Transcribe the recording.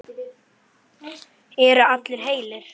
Eru allir heilir?